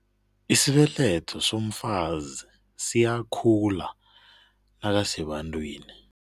Isibeletho somfazi siyakhula nakasebantwini.